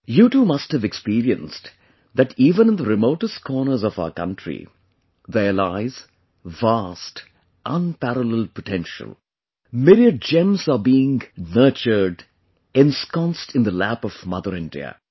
You too must have experienced that even in the remotest corners of our country, there lies vast, unparalleled potential myriad gems are being nurtured, ensconced in the lap of Mother India